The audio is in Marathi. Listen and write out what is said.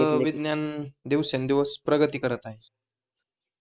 विज्ञान दिवसेंदिवस प्रगती करत आहे